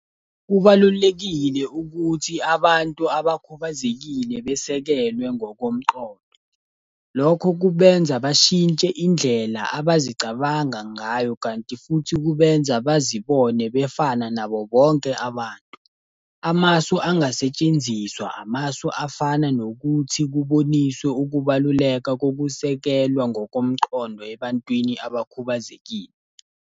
Kubalulekile ukuthi abantu abakhubazekile besekelwe ngokomqondo. Lokho kubenza bashintshe indlela abazicabanga ngayo, kanti futhi kubenza bazibone befana nabo bonke abantu. Amasu angasetshenziswa, amasu afana nokuthi kuboniswe ukubaluleka kokusekelwa ngokomqondo ebantwini abakhubazekile.